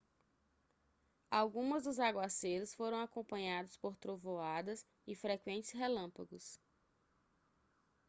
algumas dos aguaceiros foram acompanhados por trovoadas e frequentes relâmpagos